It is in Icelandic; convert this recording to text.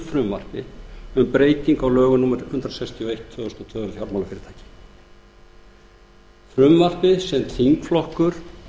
frumvarpi um breytingu á lögum númer hundrað sextíu og eitt tvö þúsund og tvö um fjármálafyrirtæki frumvarpi sem þingflokkur